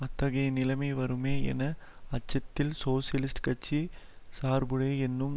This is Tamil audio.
அத்தகைய நிலைமை வருமே என அச்சத்தில் சோசியலிஸ்ட் கட்சி சார்புடைய என்னும்